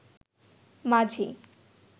মাঝি